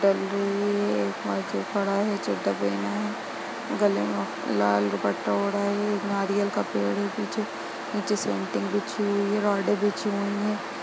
है चड्डा पहना है गले मे लाल दुपट्टा ओढ़ा है नारियल का पेड़ है पीछे नीचे बीछी हुई है रोड़े बीछी हुई है।